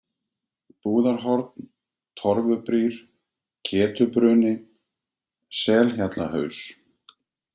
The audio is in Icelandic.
Búðarhorn, Torfubrýr, Ketubruni, Selhjallahaus